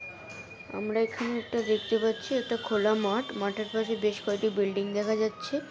আমরা এখানে একটা দেখতে পাচ্ছি একটা খোলা মাঠ। মাঠের পাশে বেশ কয়েটি বিল্ডিং দেখা যাচ্ছে।